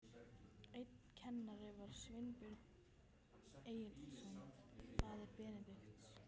Einn kennara var Sveinbjörn Egilsson, faðir Benedikts.